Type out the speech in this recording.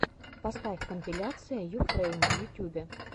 поставь компиляция юфрэйм в ютюбе